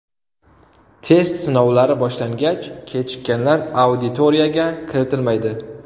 Test sinovlari boshlangach, kechikkanlar auditoriyaga kiritilmaydi.